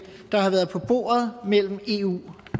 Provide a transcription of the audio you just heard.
der har været på bordet mellem eu